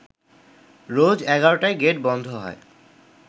রোজ এগারোটায় গেট বন্ধ হয়